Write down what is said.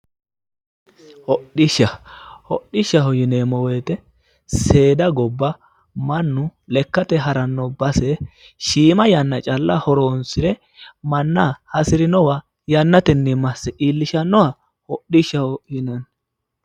hodhishsha hodhishshaho yineemmowoyite seeda gobba mannu lekkate haranno base shiiima yanna calla horoonsire manna hasirinowa yannatenni masse iillishannoha hodhishshaho yinanni.